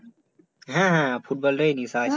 হ্যাঁ হ্যাঁ ফুটবল টাই নেশা আছে